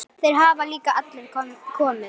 Þeir hafa líka allir komið.